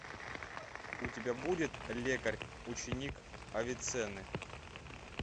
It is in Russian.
у тебя будет лекарь ученик авиценны